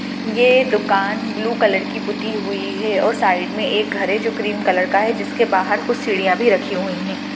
ये दुकान blue colour की पुती हुई है और साइड में एक घर है जो क्रीम कलर का है जिसके बाहर कुछ सीढिया भी रखी हुई है।